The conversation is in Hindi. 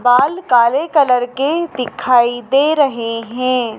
बाल काले कलर के दिखाई दे रहे हैं।